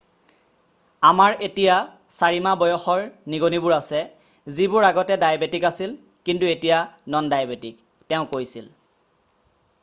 """আমাৰ এতিয়া 4 মাহ বয়সৰ নিগনীবোৰ আছে যিবোৰ আগতে ডায়েবেটিক আছিল কিন্তু এতিয়া নন-ডায়েবেটিক" তেওঁ কৈছিল।""